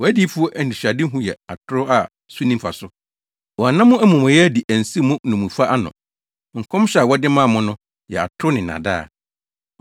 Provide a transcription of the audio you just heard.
Wʼadiyifo anisoadehu yɛ atoro a so nni mfaso; wɔanna mo amumɔyɛ adi ansiw mo nnommumfa ano. Nkɔmhyɛ a wɔde maa mo no yɛ atoro ne nnaadaa.